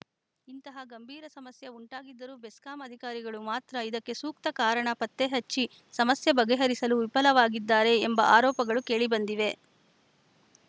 ಇಂತಹ ಗಂಭೀರ ಸಮಸ್ಯೆ ಉಂಟಾಗಿದ್ದರೂ ಬೆಸ್ಕಾಂ ಅಧಿಕಾರಿಗಳು ಮಾತ್ರ ಇದಕ್ಕೆ ಸೂಕ್ತ ಕಾರಣ ಪತ್ತೆ ಹಚ್ಚಿ ಸಮಸ್ಯೆ ಬಗೆಹರಿಸಲು ವಿಫಲವಾಗಿದ್ದಾರೆ ಎಂಬ ಆರೋಪಗಳು ಕೇಳಿ ಬಂದಿವೆ